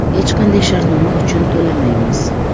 Hech qanday shartnoma uchun to‘lamaymiz.